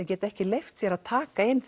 geta ekki leyft sér að taka inn